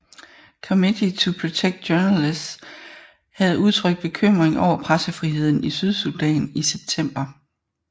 Committee to Protect Journalists havde udtrykt bekymring over pressefriheden i Sydsudan i september